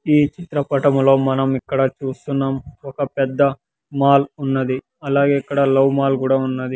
ఈ చిత్రపటములో మనం ఇక్కడ చూస్తున్నాం ఒక పెద్ద మాల్ ఉన్నది అలాగే ఇక్కడ లవ్ మాల్ కూడా ఉన్నది.